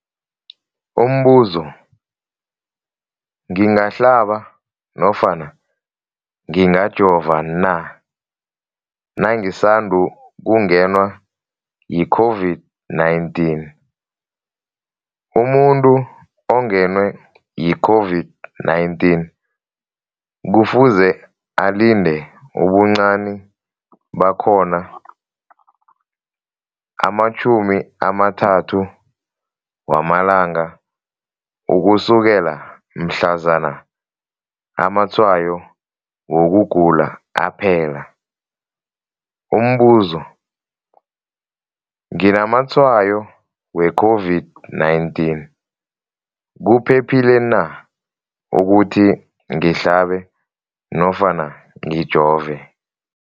Umbuzo, ngingahlaba nofana ngingajova na nangisandu kungenwa yi-COVID-19? Umuntu ongenwe yi-COVID-19 kufuze alinde ubuncani bakhona ama-30 wama langa ukusukela mhlazana amatshayo wokugula aphela. Umbuzo, nginamatshayo we-COVID-19, kuphephile na ukuthi ngihlabe nofana ngijove?